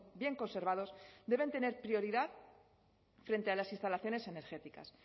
bien conservados deben tener prioridad frente a las instalaciones energéticas